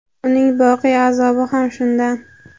uning boqiy azobi ham shundan.